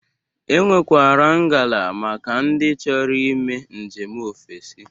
E nwekwara ngala maka ndị chọro ime njem ofesi.